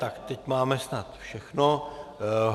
Tak teď máme snad všechno.